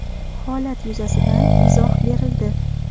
Holat yuzasidan izoh berildi.